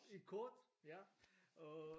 Et kort ja. Og